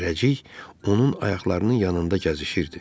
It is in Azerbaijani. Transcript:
Zərrəcik onun ayaqlarının yanında gəzişirdi.